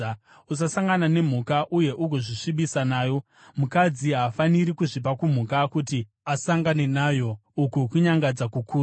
“ ‘Usasangana nemhuka uye ugozvisvibisa nayo. Mukadzi haafaniri kuzvipa kumhuka kuti asangane nayo; uku kunyangadza kukuru.